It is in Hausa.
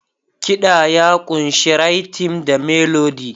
Kiɗa ya ƙunshi rythm da Melody.